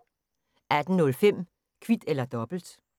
18:05: Kvit eller dobbelt